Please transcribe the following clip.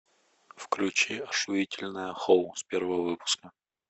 включи ошуительное хоу с первого выпуска